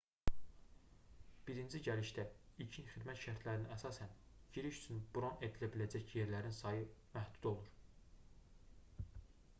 birinci gəlişdə ilkin xidmət şərtlərinə əsasən giriş üçün bron edilə biləcək yerlərin sayı məhdud olur